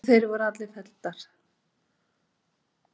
Þær voru allar felldar.